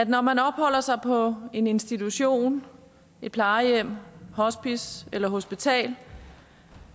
når man opholder sig på en institution et plejehjem hospice eller hospital